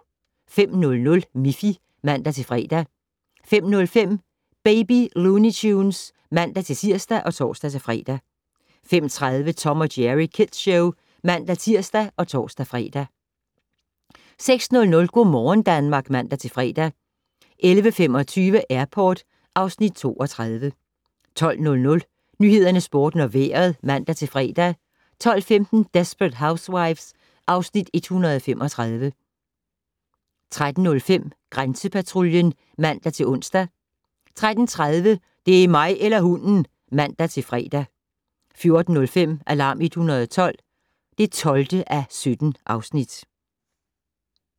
05:00: Miffy (man-fre) 05:05: Baby Looney Tunes (man-tir og tor-fre) 05:30: Tom & Jerry Kids Show (man-tir og tor-fre) 06:00: Go' morgen Danmark (man-fre) 11:25: Airport (Afs. 32) 12:00: Nyhederne, Sporten og Vejret (man-fre) 12:15: Desperate Housewives (Afs. 135) 13:05: Grænsepatruljen (man-ons) 13:30: Det er mig eller hunden! (man-fre) 14:05: Alarm 112 (12:17)